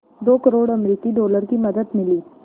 दो करोड़ अमरिकी डॉलर की मदद मिली